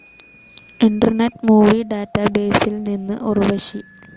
internet movie ഡാറ്റാബേസിൽ നിന്ന് ഉർവശി